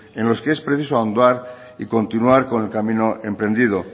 en los que es preciso ahondar y continuar con el camino emprendido